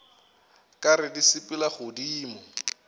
ka re di sepela godimo